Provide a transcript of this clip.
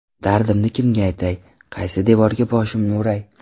Dardimni kimga aytay, qaysi devorga boshimni uray.